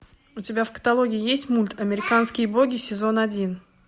у тебя в каталоге есть мульт американские боги сезон один